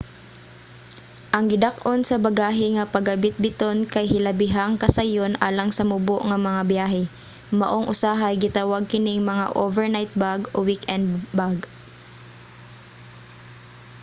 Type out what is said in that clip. ang gidak-on sa bagahe nga pagabitbiton kay hilabihang kasayon alang sa mubo nga mga byahe maong usahay gitawag kining mga overnight bag o weekend bag